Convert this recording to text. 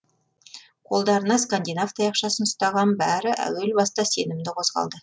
қолдарына скандинав таяқшасын ұстаған бәрі әуел баста сенімді қозғалды